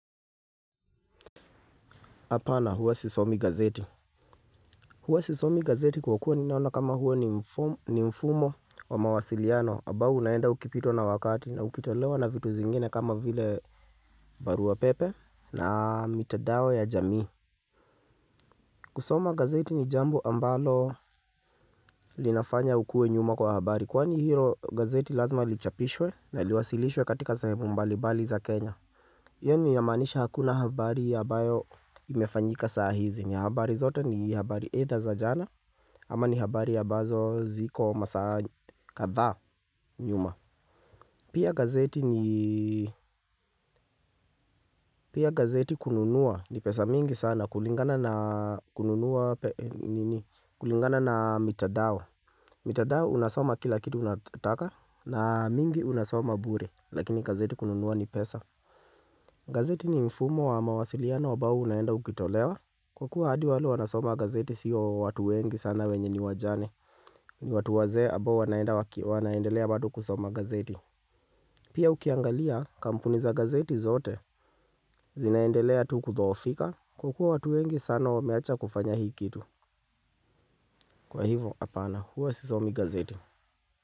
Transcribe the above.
Hapana huwa sisomi gazeti. Huwa sisomi gazeti kwa kuwa ninaona kama huwa ni mfu ni mfumo wa mawasiliano ambao unaenda ukipitwa na wakati na ukitolewa na vitu zingine kama vile barua pepe na mitandao ya jamii. Kusoma gazeti ni jambo ambalo linafanya ukue nyuma kwa habari. Kwani hilo gazeti lazima lichapishwe na liwasilishwe katika sehemu mbalimbali za Kenya yani inamaanisha hakuna habari ambayo imefanyika saa hizi. Ni habari zote ni habari eidha za jana ama ni habari ambazo ziko masaa kadhaa nyuma. Pia gazeti ni, pia gazeti kununua ni pesa mingi sana kulingana na, kununua pe, nini, kulingana na mitandao. Mitandao unasoma kila kitu unataka na mingi unasoma bure lakini gazeti kununua ni pesa. Gazeti ni mfumo wa mawasiliano ambao unaenda ukitolewa kwa kuwa hadi wale wanasoma gazeti sio watu wengi sana wenye ni wajane. Ni watu wazee ambao wanaenda waki wanaendelea bado kusoma gazeti. Pia ukiangalia kampuni za gazeti zote zinaendelea tu kudhoofika kwa kuwa watu wengi sana wameacha kufanya hii kitu. Kwa hivyo hapana huwa sisomi gazeti.